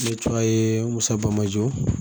Ne tɔgɔ ye musabajo